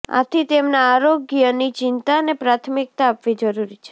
આથી તેમના આરોગ્યની ચિંતાને પ્રાથમિકતા આપવી જરૂરી છે